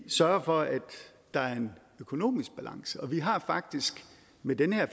sørge for at der er en økonomisk balance og vi har faktisk med det her